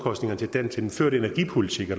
vi